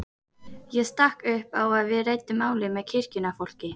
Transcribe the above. Ég stakk upp á að við ræddum málið með kirkjunnar fólki.